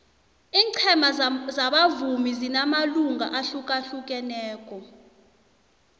ingcema zabavumi zinamalunga ahlukahlukaneko